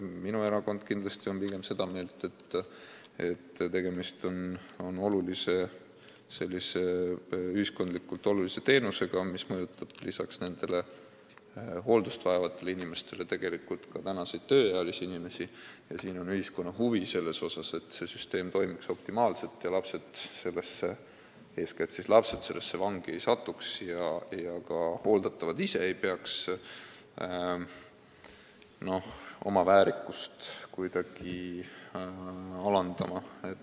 Minu erakond on pigem seda meelt, et tegemist on ühiskondlikult olulise teenusega, mis mõjutab lisaks nendele hooldust vajavatele inimestele ka tööealisi inimesi, ning siin on ühiskonna huvi, et süsteem toimiks optimaalselt ja eeskätt lapsed sellesse vangi ei satuks ja ka hooldatavad ise ei peaks oma väärikust kuidagi alandama.